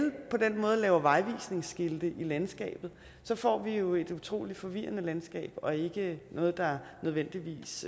på den måde laver vejvisningsskilte i landskabet så får vi jo et utrolig forvirrende landskab og ikke noget der nødvendigvis